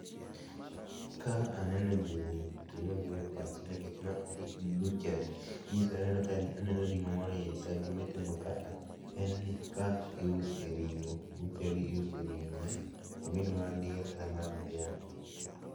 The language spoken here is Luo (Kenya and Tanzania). Ka aneno gini to gima biro e pacha nikech ma en butchery .Nyisore, aneno ka ringo moro ni e iye ka. Gima itimo ka en ni ka iuse ringo, butchery iuse ringo oebed mar diel kata mar dhiang'